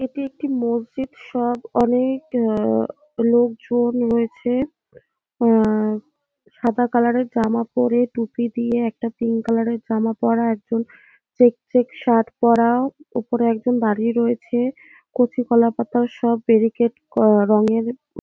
এটি একটি মসজিদ সব অনে-এ-ক আ-আ লোকজন রয়েছে আ-আ সাদা কালার -এর জামা পরে টুপি দিয়ে একটা পিঙ্ক কালার জামা পরা একজন চেক চেক শার্ট পরা ওপরে একজন দাঁড়িয়ে রয়েছে কচু কলাপাতার সব বেরিকেট রঙের ।